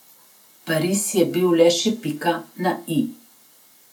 Pariz je bil le še pika na i.